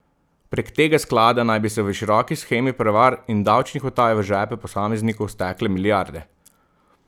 Prek tega sklada naj bi se v široki shemi prevar in davčnih utaj v žepe posameznikov stekle milijarde.